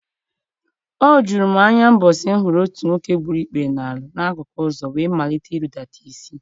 O juru m anya ụbọchị m hụrụ otu nwoke gburu ikpere n’ala n’akụkụ ụzọ wee malite irudata isi.